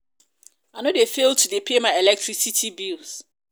i no dey fail to dey pay my electricity bills. my electricity bills.